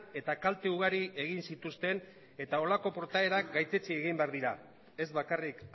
eta kalte ugari egin zituzten eta holako portaerak gaitzetsi egin behar dira ez bakarrik